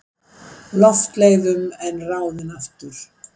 Loftleiðum en ráðinn aftur.